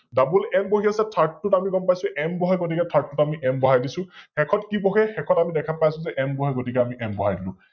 DobbleM বহি আছে Third টোত আমি গম পাইছো M বহে, গতিকে Third টোত আমি M বহাই দিছো । শেষত কি বহে? শেষত আমি দেখা পাই আছো যে N বহে গতিকে আমি N বহাই দিলো ।